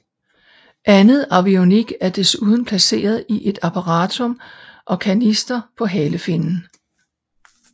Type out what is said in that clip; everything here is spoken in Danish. Andet avionik er desuden placeret i et apparatrum og kanister på halefinnen